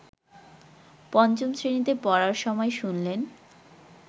পঞ্চম শ্রেণীতে পড়ার সময় শুনলেন